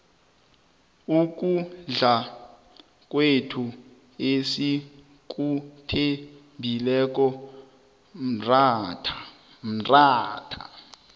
ukudla kwethu esikuthembileko mratha